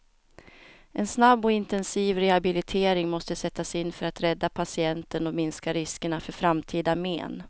En snabb och intensiv rehabilitering måste sättas in för att rädda patienten och minska riskerna för framtida men.